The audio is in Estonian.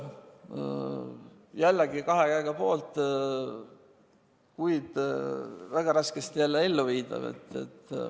Jällegi kahe käega poolt, kuid jälle väga raskesti elluviidav.